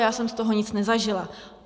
Já jsem z toho nic nezažila.